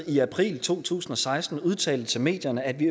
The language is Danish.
i april to tusind og seksten udtalte til medierne at vi